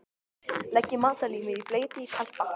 Leggið matarlímið í bleyti í kalt vatn.